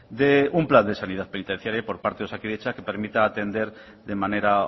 de un plan de sanidad penitenciaria por parte de osakidetza que permita atender de manera